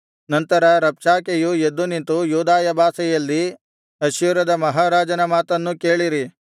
ನಂತರ ರಬ್ಷಾಕೆಯು ಎದ್ದು ನಿಂತು ಯೂದಾಯ ಭಾಷೆಯಲ್ಲಿ ಅಶ್ಶೂರದ ಮಹಾರಾಜನ ಮಾತನ್ನು ಕೇಳಿರಿ